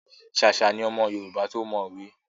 Ṣàṣà ni ọmọ Yorùbá to mọ òwe.